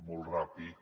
molt ràpid